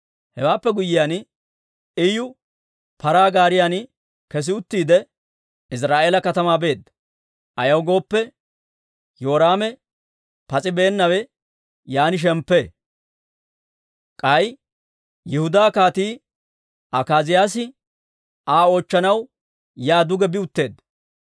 Hewaappe guyyiyaan, Iyu paraa gaariyan kes uttiide, Iziraa'eela katamaa beedda. Ayaw gooppe, Yoraame pas's'ibeenawe yaan shemppee. K'ay Yihudaa Kaatii Akaaziyaasi Aa oochchanaw yaa duge bi utteedda.